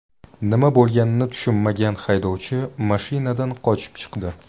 Nima bo‘lganini tushunmagan haydovchi mashinadan qochib chiqdi.